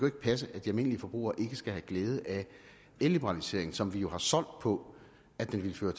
ikke passe at de almindelige forbrugere ikke skal have glæde af elliberaliseringen som vi jo har solgt på at den ville føre